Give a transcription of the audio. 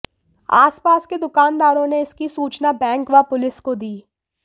आसपास के दुकानदारों ने इसकी सूचना बैंक व पुलिस को दी